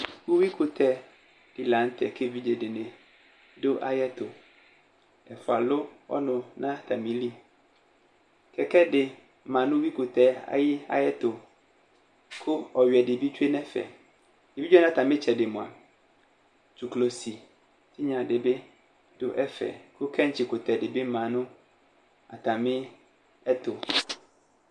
Ʋyʋɩ kʋtɛ dɩ la nʋ tɛ kʋ evidze dɩnɩ dʋ ayʋ ɛtʋ Ɛfʋa alʋ ɔnʋ nʋ atamɩlɩ Kɛkɛ dɩ ma nʋ ʋyʋɩ kʋtɛ ayʋ ɛtʋ, kʋ ɔyʋɩɛ dɩ bɩ tsʋe nʋ ɛfɛ Evidze wanɩ atmɩ ɩtsɛdɩ mʋa, dzʋklɔsɩtɩnya dɩ bɩ dʋ ɛfɛ kʋ kɛtsɩ kʋtɛ dɩ bɩ ma nʋ atamɩ ɛtʋ